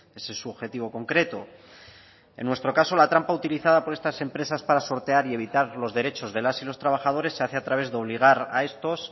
ese es su objetivo concreto en nuestro caso la trampa utilizada por estas empresas para sortear y evitar los derechos de las y los trabajadores se hace a través de obligar a estos